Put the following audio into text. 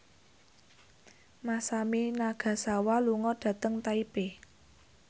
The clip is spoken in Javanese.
Masami Nagasawa lunga dhateng Taipei